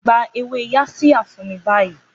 Gba ewé Yaxiya fún mi báyìí!